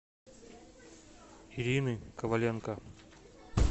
ирины коваленко